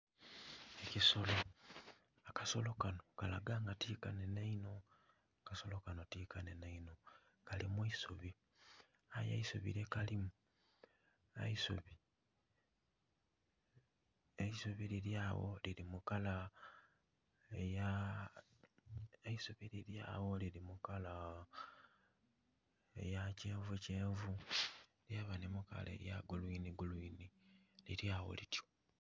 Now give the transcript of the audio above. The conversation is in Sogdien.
Ekisolo, akasolo kano kalaga nga ti kanhenhe inho, kasolo kano ti kanhenhe inho, kali mu isubi aye eisubi lyekalimu eisubi... eisubi liri awo liri mu kala eya.. eisubi liri awo liri mu kala eya kyenvukyenvu lyaba ni mu kala eya gulwinigulwini liri awo lityo.